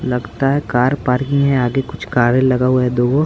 लगता है car parking है आगे कुछ कारे लगा हुआ है दुगो।